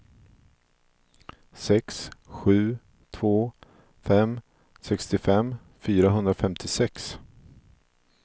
sex sju två fem sextiofem fyrahundrafemtiosex